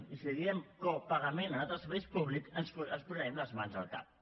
i si diem copagament en altres serveis públics ens posarem les mans al cap